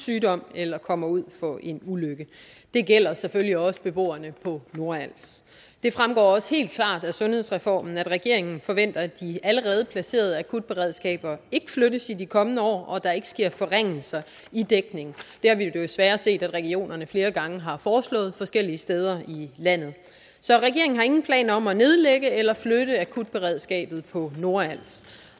sygdom eller kommer ud for en ulykke det gælder selvfølgelig også beboerne på nordals det fremgår også helt klart af sundhedsreformen at regeringen forventer at de allerede placerede akutberedskaber ikke flyttes i de kommende år og at der ikke sker forringelser i dækningen det har vi jo desværre set at regionerne flere gange har foreslået forskellige steder i landet så regeringen har ingen planer om at nedlægge eller flytte akutberedskabet på nordals